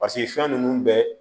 paseke fɛn nunnu bɛɛ